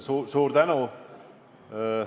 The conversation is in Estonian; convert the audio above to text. Jah, suur tänu!